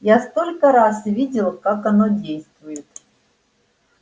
я столько раз видел как оно действует